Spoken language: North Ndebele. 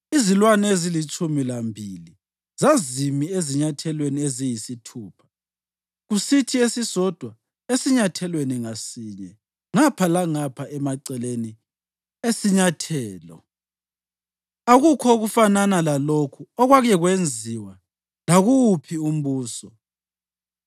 Izilwane ezilitshumi lambili zazimi ezinyathelweni eziyisithupha, kusithi esisodwa esinyathelweni ngasinye ngapha langapha emaceleni esinyathelo. Akukho okufanana lalokhu okwake kwenziwa lakuwuphi umbuso.